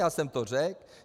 Já jsem to řekl.